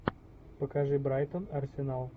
покажи брайтон арсенал